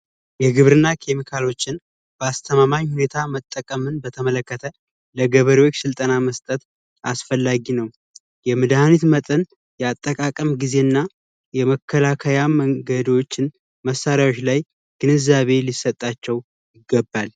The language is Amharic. የግብርና ኪም ካሎችን ባስተማማኝ ሁኔታ መጠቀምን በተመለከተ ለገበሬዎች ስልጠና መስጠት አስፈላጊ ነው የመድኃኒት መጠን ያጠቃቀም ጊዜና የመከላከያ መንገዶችን መሳሪያዎች ላይ ግንዛቤ ሊሰጣቸው ይገባል